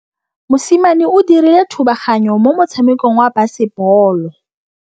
Mosimane o dirile thubaganyô mo motshamekong wa basebôlô.